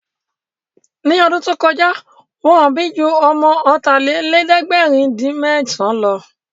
Ní ọdún tó kọjá, Wọ́n bí ju ọmọ ọ̀tàlélẹ̀ẹ̀dẹ́gbèrin-dín-mẹ́san lọ